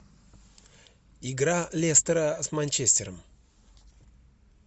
игра лестера с манчестером